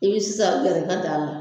I bɛ sisan gɛrɛ i ka daa la.